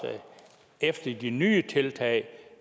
efter de nye tiltag